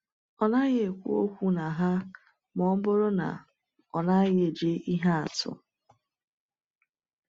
“Ọ naghị ekwu okwu na ha ma ọ bụrụ na ọ naghị eji ihe atụ.”